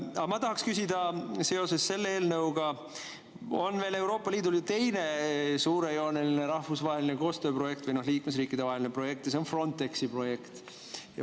Aga ma tahaksin küsida seoses selle eelnõuga, et Euroopa Liidul on veel teine suurejooneline rahvusvaheline koostööprojekt või liikmesriikidevaheline projekt ja see on Frontexi projekt.